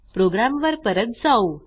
प्रोग्रॅमवर परत जाऊ